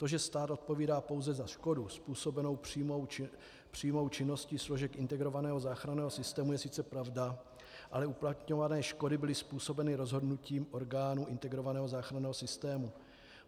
To, že stát odpovídá pouze za škodu způsobenou přímou činností složek integrovaného záchranného systému, je sice pravda, ale uplatňované škody byly způsobeny rozhodnutím orgánů integrovaného záchranného systému.